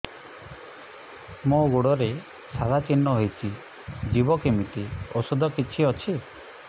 ମୋ ଗୁଡ଼ରେ ସାଧା ଚିହ୍ନ ହେଇଚି ଯିବ କେମିତି ଔଷଧ କିଛି ଅଛି